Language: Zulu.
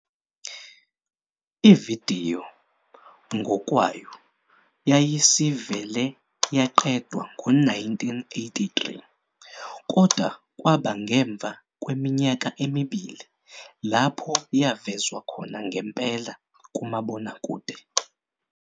Ividiyo ngokwayo yayisivele yaqedwa ngo-1983, kodwa kwaba ngemva kweminyaka emibili lapho yavezwa khona ngempela kumabonakude.